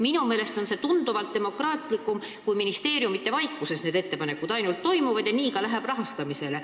Minu meelest on see tunduvalt demokraatlikum sellest, kui need ettepanekud tehtaks ministeeriumide vaikuses ja nii need läheksid ka rahastamisele.